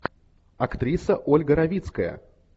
актриса ольга равицкая